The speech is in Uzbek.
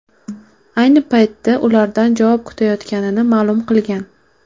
Ayni paytda ulardan javob kutayotganini ma’lum qilgan.